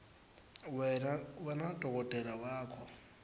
wena nadokotela wakho